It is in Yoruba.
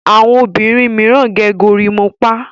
àwọn obìrin míràn gẹ̀ gorimopa.